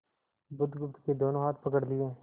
बुधगुप्त के दोनों हाथ पकड़ लिए